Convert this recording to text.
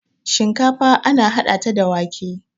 shinkafa ana hada ta da wake